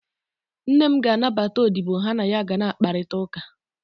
Nne m ga-anabata odibo ha na ya ga na-akparịta ụka